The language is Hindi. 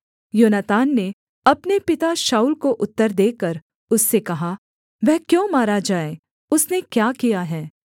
योनातान ने अपने पिता शाऊल को उत्तर देकर उससे कहा वह क्यों मारा जाए उसने क्या किया है